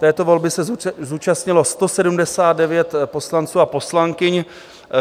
Této volby se zúčastnilo 179 poslanců a poslankyň.